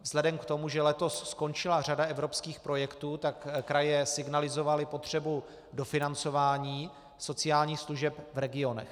Vzhledem k tomu, že letos skončila řada evropských projektů, tak kraje signalizovaly potřebu dofinancování sociálních služeb v regionech.